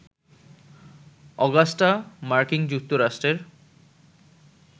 Augusta মার্কিন যুক্তরাষ্ট্রের